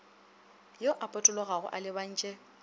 yo a potologago a lebantše